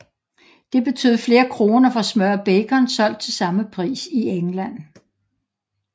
Det betød flere kroner for smør og bacon solgt til samme pris i England